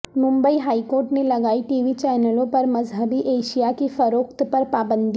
Mumbai high court نے لگائی TV چینلوں پر مذہبی اشیاء کی فروخت پر پابندی